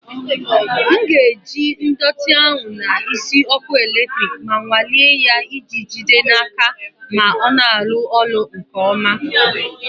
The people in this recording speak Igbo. M ga-ejikọta ndọtị ahụ na isi ọkụ eletrik ma nwalee ya iji jide n'aka ma ọ na-arụ ọrụ nke ọma.